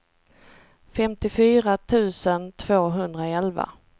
femtiofyra tusen tvåhundraelva